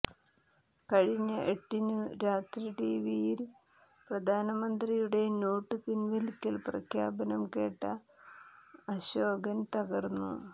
കഴിഞ്ഞ എട്ടിനു രാത്രി ടിവിയിൽ പ്രധാനമന്ത്രിയുടെ നോട്ടു പിൻവലിക്കൽ പ്രഖ്യാപനം കേട്ട അശോകൻ തകർന്നു